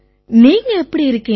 நீங்க எப்படி இருக்கீங்க